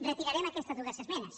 retirarem aquestes dues esmenes